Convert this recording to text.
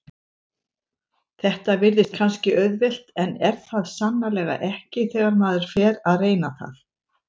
Þetta virðist kannski auðvelt en er það sannarlega ekki þegar maður fer að reyna það.